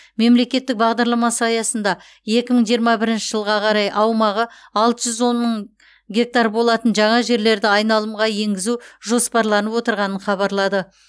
мемлекеттік бағдарламасы аясында екі мың жиырма бірінші жылға қарай аумағы алты жүз он мың гектар болатын жаңа жерлерді айналымға енгізу жоспарланып отырғанын хабарлады